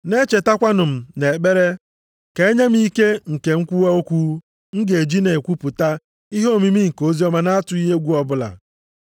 Na-echetakwanụ m nʼekpere, ka e nye m ike nke mkwuwa okwu, m ga-eji na-ekwupụta ihe omimi nke oziọma na-atụghị egwu ọbụla,